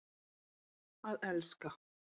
Að elska.